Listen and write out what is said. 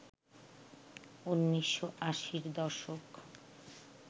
১৯৮০র দশক